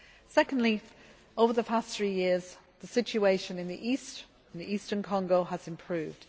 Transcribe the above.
Secondly, over the past three years, the situation in the eastern Congo has improved.